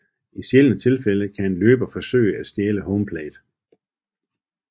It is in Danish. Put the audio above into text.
I sjældne tilfælde kan en løber forsøge at stjæle home plate